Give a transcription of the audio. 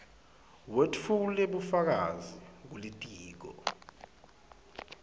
wetfule bufakazi kulitiko